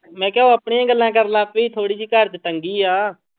ਮੈਂ ਕਿਹਾ ਉਹ ਆਪਣੀਆਂ ਹੀ ਗੱਲਾਂ ਕਰਨ ਲੱਗ ਪਏ ਸੀ, ਥੋੜ੍ਹੀ ਜਿਹੀ ਘਰ ਚ ਤੰਗੀ ਆ।